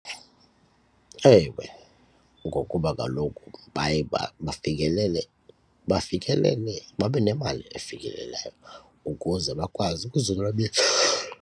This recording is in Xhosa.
Ewe ngokuba kaloku baye bafikelele bafikelele babe nemali efikelelayo ukuze bakwazi ukuzonwabisa.